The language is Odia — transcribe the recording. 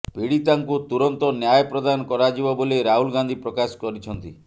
ପୀଡିତାଙ୍କୁ ତୁରନ୍ତ ନ୍ୟାୟ ପ୍ରଦାନ କରାଯିବ ବୋଲି ରାହୁଲ ଗାନ୍ଧୀ ପ୍ରକାଶ କରିଛନ୍ତି